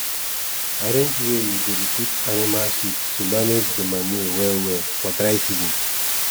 arrange wey u go dey put animal shit to manage d manure well well for dry season